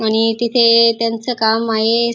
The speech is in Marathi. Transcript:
आणि तिथे त्यांचं काम आहे.